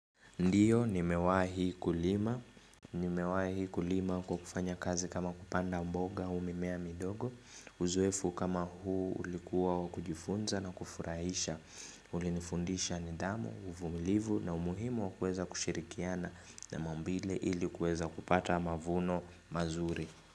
Ndiyo, nimewahi kulima kwa kufanya kazi kama kupanda mboga au mimea midogo, uzoefu kama huu ulikuwa wakujifunza na kufurahisha, ulinifundisha ni dhamu, uvumilivu na umuhimu wakuweza kushirikiana na maumbile ilikuweza kupata mavuno mazuri.